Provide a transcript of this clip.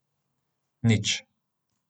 Nič.